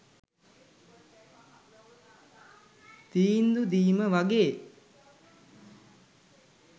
තීන්දු දීම වගේ.